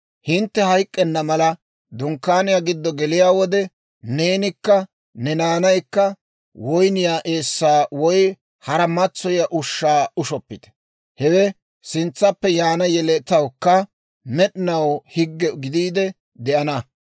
«Hintte hayk'k'enna mala, Dunkkaaniyaa giddo geliyaa wode, neenikka ne naanaykka woyniyaa eessaa woy hara matsoyiyaa ushshaa ushshoppite; hewe sintsaappe yaana yeletawukka med'inaw higge gidiide de'ana.